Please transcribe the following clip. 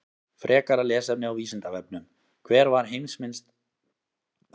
Frekara lesefni á Vísindavefnum: Hver var heimsmynd ásatrúarmanna?